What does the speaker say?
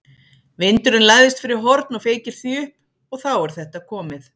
Vindurinn læðist fyrir horn og feykir því upp. og þá er þetta komið.